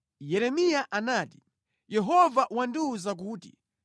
Yeremiya anati, “Yehova wandiwuza kuti: